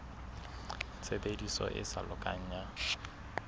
tshebediso e sa lokang ya